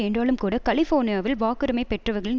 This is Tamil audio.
என்றாலும்கூட கலிஃபோர்னியாவில் வாக்குரிமை பெற்றவர்களின்